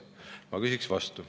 Ma küsin vastu.